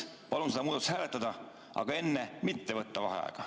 Ma palun seda muudatusettepanekut hääletada, aga enne mitte võtta vaheaega.